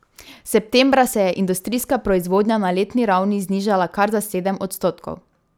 Septembra se je industrijska proizvodnja na letni ravni znižala kar za sedem odstotkov.